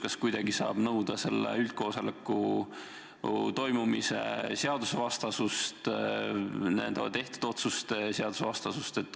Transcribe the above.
Kas kuidagi saab viidata, et see üldkoosolek toimus seadust rikkuval viisil ja tehtud otsused pole õiguspärased?